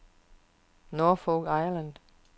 Norfolk Island